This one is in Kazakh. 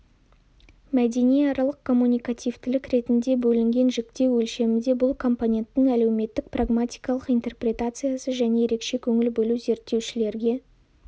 мәдениаралық коммуникативтілік ретінде бөлінген жіктеу өлшемінде бұл компоненттің әлеуметтік-прагматикалық интерпретациясы және ерекше көңіл бөлу зерттеушілерге